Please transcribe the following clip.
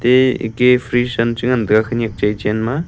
ee ika freeze am chi ngantaga khanyak chai chenma.